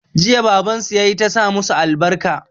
Jiya baban su ya yi ta sa masu albarka.